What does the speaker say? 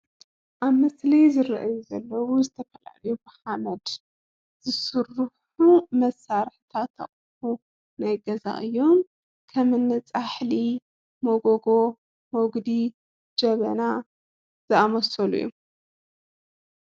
አብ ምስሊ ዝረእዩ ዘለው ዝተፈላለዩ ብሓመድ ዝስሩሑ መሳርሕታት አቁሑ ናይ ገዛ እዩም ከምኒ ፃሕሊ፣ መጎጎ፣ መጉዲ፣ ጀበና ዝአመሰሉ እዩም፡፡